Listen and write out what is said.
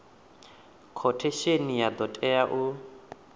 khothesheni ya do tea u